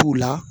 T'u la